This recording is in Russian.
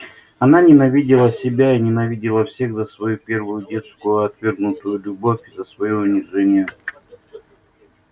она ненавидела себя и ненавидела всех за свою первую детскую отвергнутую любовь и за своё унижение